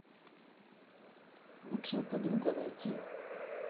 лучшая подруга найти